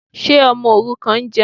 Ṣé ọmọ òrukàn ń jẹun?